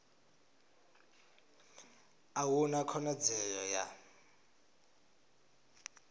a hu na khonadzeo ya